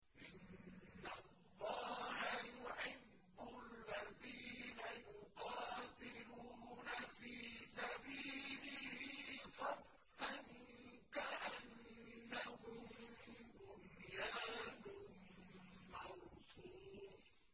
إِنَّ اللَّهَ يُحِبُّ الَّذِينَ يُقَاتِلُونَ فِي سَبِيلِهِ صَفًّا كَأَنَّهُم بُنْيَانٌ مَّرْصُوصٌ